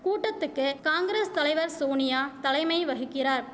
கூட்டத்துக்கு காங்கிரஸ் தலைவர் சோனியா தலைமை வகிக்கிறார்